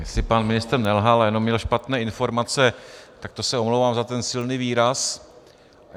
Jestli pan ministr nelhal a jenom měl špatné informace, tak to se omlouvám za ten silný výraz.